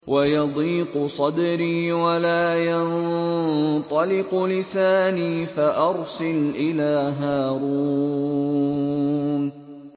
وَيَضِيقُ صَدْرِي وَلَا يَنطَلِقُ لِسَانِي فَأَرْسِلْ إِلَىٰ هَارُونَ